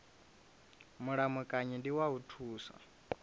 mulamukanyi ndi wa u thusa